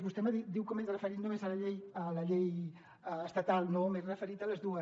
vostè diu que m’he referit només a la llei estatal no m’he referit a les dues